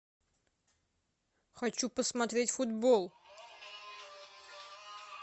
хочу посмотреть футбол